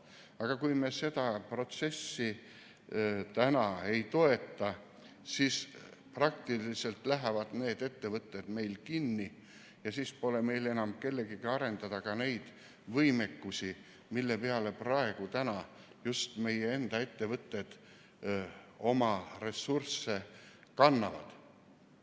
Aga kui me seda protsessi ei toeta, siis lähevad need ettevõtted kinni ja siis pole enam kellegagi arendada seda võimekust, mille peale praegu just meie enda ettevõtted oma ressursse panevad.